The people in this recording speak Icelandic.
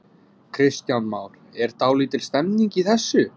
Kristján Már: Er dálítil stemning í þessu?